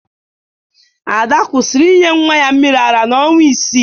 Ada kwụsịrị inye nwa ya mmiri ara n'ọnwa isii